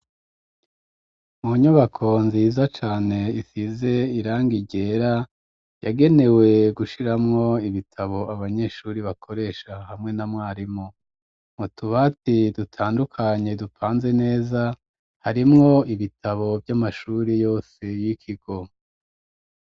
Mu nyubako nziza cane isize irangi ryera, yagenewe gushiramwo ibitabo abanyeshuri bakoresha hamwe na mwarimu. Mu tubati dutandukanye dupanze neza, harimwo ibitabo vy'amashuri yose y'ikigo.